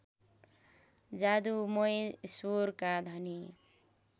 जादुमय स्वरका धनी